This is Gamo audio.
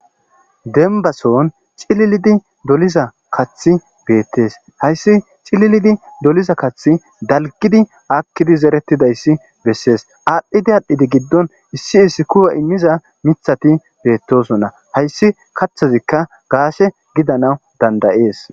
dembason cililidi doliza kathi beettees hayssi cililidi doliza kath dalgidi akkidi zeretidayssi bessees aadhdhidi aadhdhidi giddon issi issi kuyo immiza mithati beettosonna hayssi kaththazikka gaase gidana dandayees